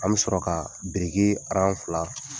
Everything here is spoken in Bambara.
An bi sɔrɔ ka fila